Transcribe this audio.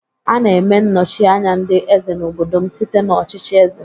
A na-eme nnochi anya ndị eze n'obodo m site n'ọchịchị eze.